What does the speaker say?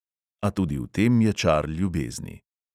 A tudi v tem je čar ljubezni.